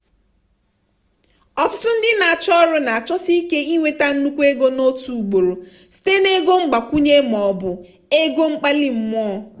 ọtụtụ ndị ọrụ na-achọsi ike inweta nnukwu ego n'otu ugboro site na ego mgbakwunye maọbụ ego mkpali mmụọ.